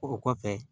O kɔfɛ